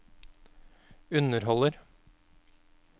underholder